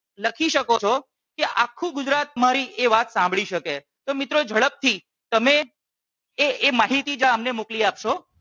લખી શકો છો કે આખું ગુજરાત મારી એ વાત સાંભળી શકે. તો મિત્રો ઝડપ થી તમે એ એ માહિતી જરા અમને મોકલી આપો